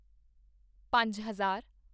ਪੰਜ ਹਜ਼ਾਰ